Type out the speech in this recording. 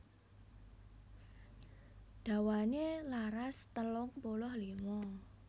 Dawané laras telung puluh lima